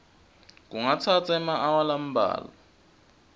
kungatsatsa emaawa lambalwa